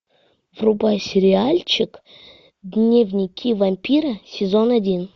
врубай сериальчик дневники вампира сезон один